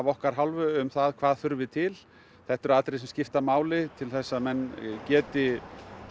okkar hálfu um hvað þurfi til þetta eru atriði sem skipta máli til þess að menn geti